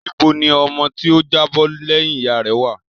Níbo ni ọmọ tí ó jábọ́ lẹ́yìn ìyá rẹ̀ wá à?